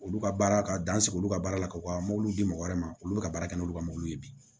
Olu ka baara ka dan sigi olu ka baara la k'u ka di mɔgɔ wɛrɛ ma olu bɛ ka baara kɛ n'olu ka mobili ye bi